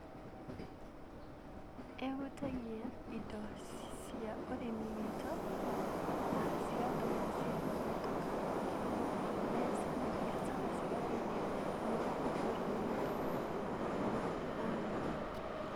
Ĩhutagia indo cia ũrĩmi witũ na cigatũma ciage kũhĩtũka kwoguo mbeca na mbiacara cigathiĩ thĩ mwena wa bũrũri witũ na arĩmi.